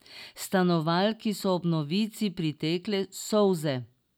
Stanovalki so ob novici pritekle solze.